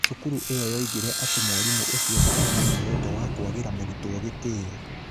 Cukuru ĩyo yoigire atĩ mwarimũ ũcio ndaarĩ na muoroto wa kwagira mũrutwo gĩtio.